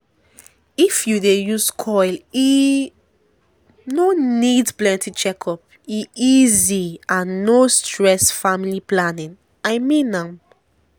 if u dey use coil e no need plenty checkup--e easy and no stress family planning i mean am